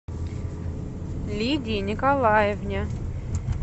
лидии николаевне